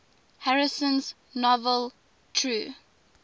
harrison's novel true